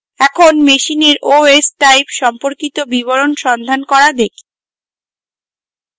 এখন machine os type সম্পর্কিত বিবরণ সন্ধান করা দেখি